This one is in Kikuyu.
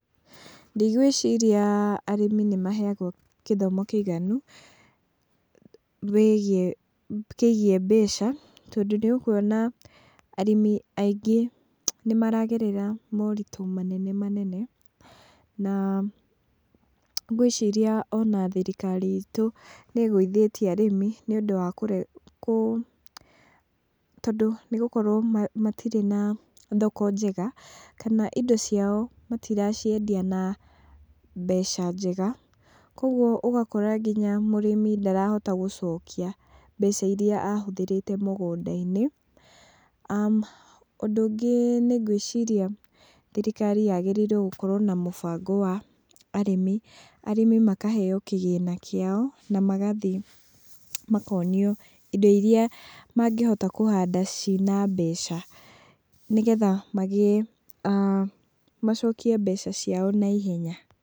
Ndigwĩciria arĩmi nĩmaheagwo gĩthomo kĩiganu, wĩgiĩ, kĩgiĩ mbeca, tondũ nĩũkuona arĩmi aingĩ nĩmaragerera moritũ manene manene, na ngwĩciria ona thirikari itũ nĩ ĩgũithĩtie arĩmi, nĩũndũ wa, tondũ nigũkorwo matirĩ na thoko njega, kana indo ciao matiraciendia na mbeca njega, koguo ũgakora mũrĩmi ndarahota gũcokia mbeca iria ahũthĩrĩte mũgũnda-inĩ. Ũndũ ũngĩ nĩngwĩciria thirikari yagirĩire gũkorwo na mũbango wa arĩmi, arĩmi makaheo kĩgĩna kĩao na magathiĩ makonio indo iria mangĩhota kũhanda ciina mbeca, nĩgetha magĩe, macokie mbeca ciao naihenya.